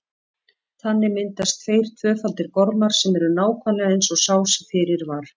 Þannig myndast tveir tvöfaldir gormar sem eru nákvæmlega eins og sá sem fyrir var.